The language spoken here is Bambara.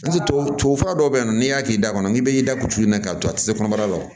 Tubabu fura dɔ be yen nɔ n'i y'a k'i da kɔnɔ k'i be i da kulula k'a to a ti se kɔnɔbara l